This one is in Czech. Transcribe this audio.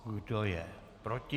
Kdo je proti?